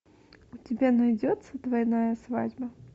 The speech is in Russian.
у тебя найдется двойная свадьба